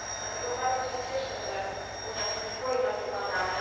Dlatego bardzo się cieszę, że Unia publikuje takie badania.